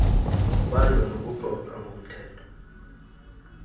kubanjwa nokuxoxa ngomthetho